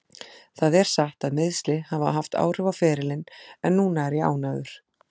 Það er satt að meiðsli hafa haft áhrif á ferilinn en núna er ég ánægður.